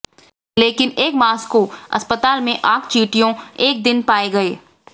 लेकिन एक मास्को अस्पताल में आग चींटियों एक दिन पाए गए